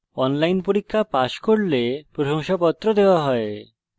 online পরীক্ষা pass করলে প্রশংসাপত্র দেওয়া হয়